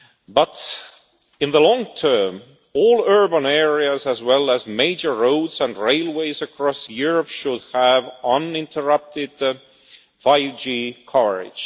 But in the long term, all urban areas, as well as major roads and railways across Europe, should have uninterrupted 5G coverage.